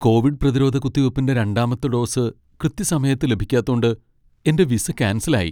Covid പ്രതിരോധ കുത്തിവയ്പ്പിന്റെ രണ്ടാമത്തെ ഡോസ് കൃത്യസമയത്ത് ലഭിക്കാത്തോണ്ട് എന്റെ വിസ ക്യാൻസൽ ആയി.